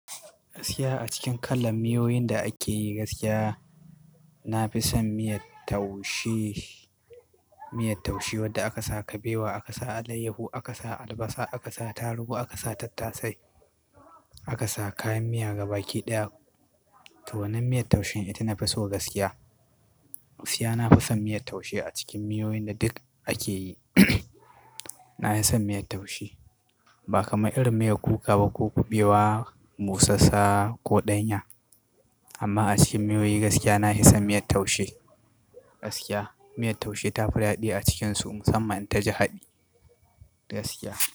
Gaskiya a cikin kalar miyoyin da ake yi gaskiya, na fi son miyar taushe, miyar taushe wadda aka sa kabewa, aka sa alayyahu, aka sa albasa, aka sa taruhu, aka sa tattasai, aka sa kayan miya gaba ki ɗaya. To wannan miyar taushen ita nafi so gaskiya. Gaskiya nafi son miyar taushe a cikin miyoyin da duk ake yi. Na fi son miyar taushe ba kamar irin miyar kuka ba ko kuɓewa, busassa ko ɗanya. Amma a cikin miyoyin gaskiya nahi son miyar taushe. Gaskiya miyar taushe ta fi daɗi a cikin su musamman ta ji haɗi gaskiya.